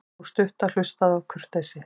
Sú stutta hlustaði af kurteisi.